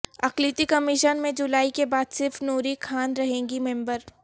اقلیتی کمیشن میں جولائی کے بعدصرف نوری خان رہیں گی ممبر